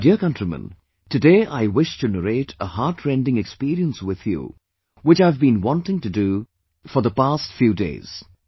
My dear countrymen, today I wish to narrate a heart rending experience with you which I've beenwanting to do past few days